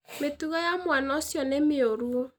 Mĩtugo ya mwana ũcio nĩ mĩũru.